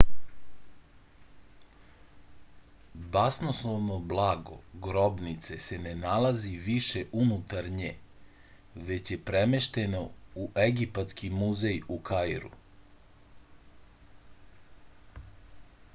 basnoslovno blago grobnice se ne nalazi više unutar nje već je premešteno u egipatski muzej u kairu